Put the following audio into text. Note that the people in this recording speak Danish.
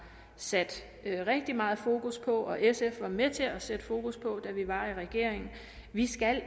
sat rigtig meget fokus på og sf var med til at sætte fokus på det da vi var i regering vi skal